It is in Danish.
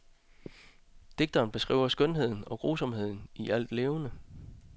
Digteren beskriver skønheden og grusomheden i alt levende.